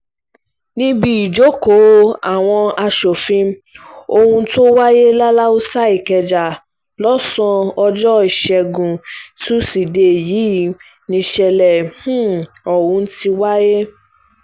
níbi ìjókòó àwọn um aṣòfin ọ̀hún tó wáyé laláùsa ìkẹjà lọ́sàn-án ọjọ́ ìṣẹ́gun túṣídéé yìí nìṣẹ̀lẹ̀ um ọ̀hún ti wáyé